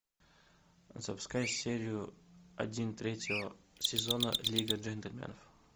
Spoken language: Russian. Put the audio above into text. запускай серию один третьего сезона лига джентльменов